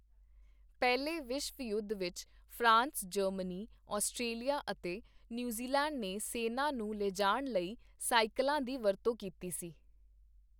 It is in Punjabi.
ਪਹਿਲੇ ਵਿਸ਼ਵ ਯੁੱਧ ਵਿੱਚ ਫਰਾਂਸ, ਜਰਮਨੀ, ਆਸਟ੍ਰੇਲੀਆ ਅਤੇ ਨਿਊਜ਼ੀਲੈਂਡ ਨੇ ਸੇੈਨਾ ਨੂੰ ਲਿਜਾਣ ਲਈ ਸਾਈਕਲਾਂ ਦੀ ਵਰਤੋਂ ਕੀਤੀ ਸੀ।